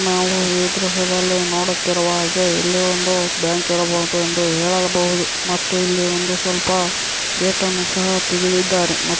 ನಾವು ಈ ದೃಶ್ಯದಲ್ಲಿ ನೋಡುತ್ತಿರುವಾಗೆ ಇಲ್ಲಿ ಒಂದು ಬ್ಯಾಂಕ್ ಇರಬಹುದು ಎಂದು ಹೇಳಬಹುದು ಮತ್ತೆ ಇಲ್ಲಿ ಒಂದು ಸ್ವಲ್ಪ ಗೇಟ್ ಅನ್ನು ಸಹ ತೆಗಿದಿದ್ದಾರೆ --